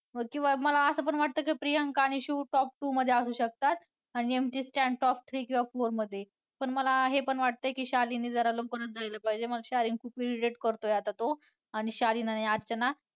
किंवा मला असं पण वाटतं प्रियांका आणि शिव top two मध्ये असू शकतात आणि MC Stan top three किंवा four मध्ये पण मला हे पण वाटतंय की शालीनने जरा लवकरचं जायला पाहिजे. शालीन irritate करतोय आता तो आणि शालीन आणि अर्चना.